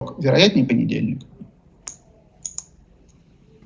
вероятнее понедельник